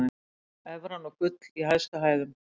Evran og gull í hæstu hæðum